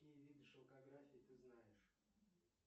какие виды шелкографии ты знаешь